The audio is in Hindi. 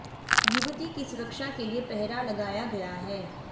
युवती की सुरक्षा के लिए पहरा लगाया गया है